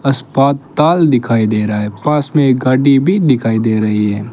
अस्पताल दिखाई दे रहा है पास में एक गाड़ी भी दिखाई दे रही है।